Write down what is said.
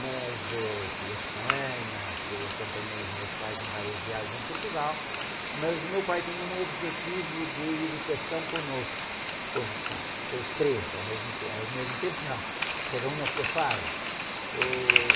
Mas, eh, fui a Espanha, fui, acompanhei os meus pais em várias viagens em Portugal, mas o meu pai tinha um objetivo de educação conosco, com os, com, com os três, ao mesmo tempo, ao mesmo tempo, não, cada um na sua fase. Ôh...